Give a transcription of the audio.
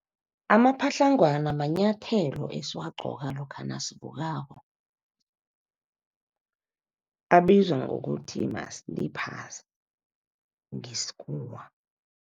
Amapatlagwana manyathelo esiwagcoka lokha nasivukako. Abizwa ngokuthi ma-slippers ngesikhuwa.